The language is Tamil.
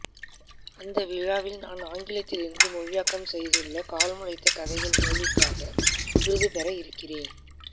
அந்த விழாவில் நான் ஆங்கிலத்திலிருந்து மொழியாக்கம் செய்துள்ள கால்முளைத்த கதைகள் நூலிற்காக விருது பெற இருக்கிறேன்